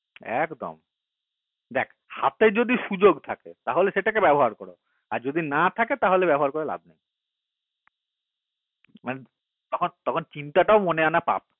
একদম দেখ হাতে যদি সুযোগ থাকে তাহলে যেটাকে ব্যবহার করো আর যদি না থাকে তালে ব্যবহার করে লাভ নাই তখন মানে চিন্তাটাও মনে আনা পাপ